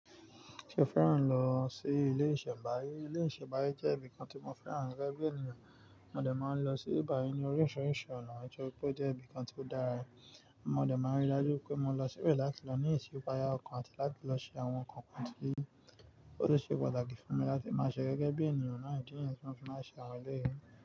Ṣé o fẹ́ràn lọ sí ilé ìṣẹ̀mbáyé? Ilé ìṣẹ̀mbáyé jẹ́ ibìkan tí mo fẹ́ràn gẹ́gẹ́ bí ènìyàn. Mo dè máa ń lọ sí ìbi bayii ní oríṣiríṣi ọ̀nà, nítorí pé ó jẹ́ ibìkan tí ó dára. Mo dè máa ń rí i dájú wipé mo lọ síbẹ̀ láti lọ ní ìsipáyà ọkàn àti láti lọ ṣe àwọn nǹkan kan tí ó ṣe pàtàkì fún mi láti máa ṣe gẹ́gẹ́ bí ènìyàn náà idi niyi tí mó fi máa ń ṣe àwọn eleyìí.